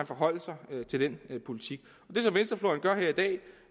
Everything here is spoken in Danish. forholde sig til den politik det som venstrefløjen gør her i dag